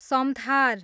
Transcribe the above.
Samthar